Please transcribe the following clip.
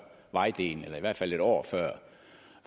vejdelen eller i hvert fald en år